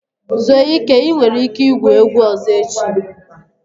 Zuo ike, ị nwere ike igwu egwu ọzọ echi!